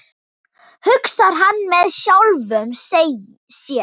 hugsar hann með sjálfum sér.